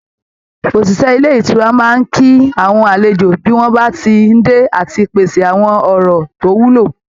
Òṣìṣẹ́ ilé ìtura máa ń kí àwọn àlejò bí wọ́n bá ti ń dé, àti pèsè àwọn ọ̀rọ̀ tó wúlò